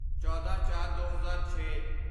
ਚੌਦਾਂਚਾਰਦੋ ਹਜ਼ਾਰ ਛੇ